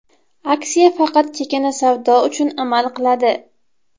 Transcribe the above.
Aksiya faqat chakana savdo uchun amal qiladi.